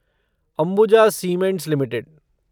Ambuja cements limited